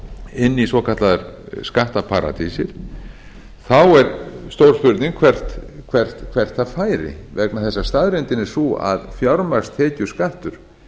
inn í svokallaðar skattaparadísir þá er stór spurning hvert það færi vegna þess að staðreyndin er sú að fjármagnstekjuskattur